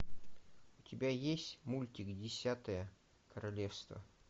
у тебя есть мультик десятое королевство